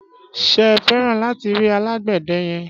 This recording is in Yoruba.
Ṣé feran lati ri alàgbéde yen?